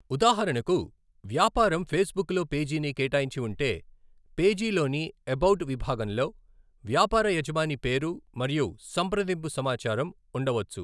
ఉదాహరణకు, వ్యాపారం ఫేస్బుక్ లో పేజీని కేటాయించి ఉంటే, పేజీలోని 'ఎబౌట్' విభాగంలో వ్యాపార యజమాని పేరు మరియు సంప్రదింపు సమాచారం ఉండవచ్చు.